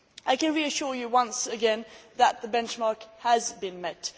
I can reassure you once again that the benchmarks have been met.